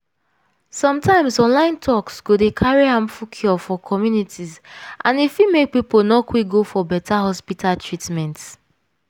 sometimes online talks go dey carry harmful cure for communities and e fit make people no quick go for beta hospital treatment.